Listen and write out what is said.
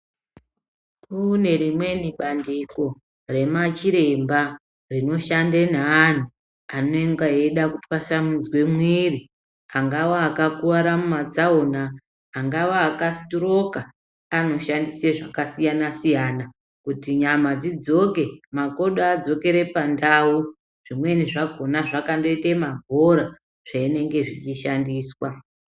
Kune rimweni bandiko remachiremba rimoshande neantu anenge eida kutwasanudze mwiri angawa akakuware mumatsaona, angawa akasitiroka anoshandise zvakasiyana siyana kuti nyama dzidzoke makodo adzokere pandau. Zvimweni zvakona zvakandoite mabhora zvinenge zvichishandiswa.